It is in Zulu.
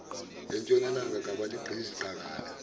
asentshonalanga kabaligqizi qakala